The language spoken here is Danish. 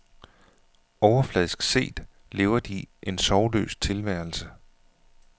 Overfladisk set lever de en sorgløs tilværelse.